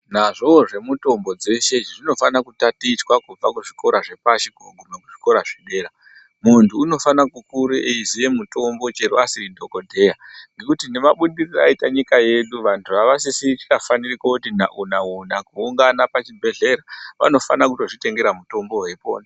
Nazvo zvemitombo zveshe zvinofana kutatichwa kubva kuzvikora zvepashi kusvika kuzvikora zvedera muntu unofana kukura eiziya mitombo chero asiri dhokodheya mabudiriro aita nyika yedu vantu avafani kuti nawo nawo kuungana kuzvibhedhlera vanofana kuzvitengera mitombo weipona.